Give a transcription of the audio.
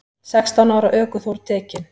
Sextán ára ökuþór tekinn